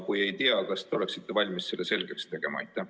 Kui ei tea, siis kas te oleksite valmis need põhjused selgeks tegema?